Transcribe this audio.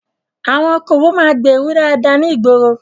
Àwọn okòwò máa ń gbèèrú dáadáa ní ìgboro.